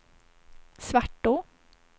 Svartå